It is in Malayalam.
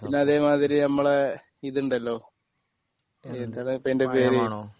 പിന്നെ അതെ മാതിരി നമ്മളെ ഇത് ഉണ്ടല്ലോ ഏഹ് എന്താടാ ഇപ്പോ അതിൻ്റെ പേര്